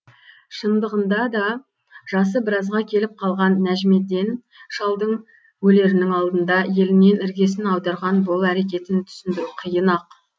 шындығында да жасы біразға келіп қалған нәжімеден шалдың өлерінің алдында елінен іргесін аударған бұл әрекетін түсіндіру қиын ақ